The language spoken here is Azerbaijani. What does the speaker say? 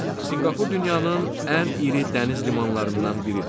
Sinqapur dünyanın ən iri dəniz limanlarından biridir.